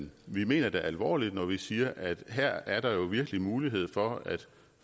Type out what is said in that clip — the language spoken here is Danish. vi mener det alvorligt når vi siger at her er der jo virkelig mulighed for at